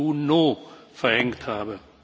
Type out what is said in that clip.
7. Juni verhängt habe.